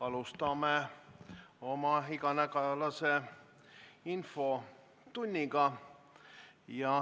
Alustame oma iganädalast infotundi.